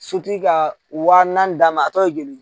Sotigi ka wa naani d'a ma a tɔ ye joli ye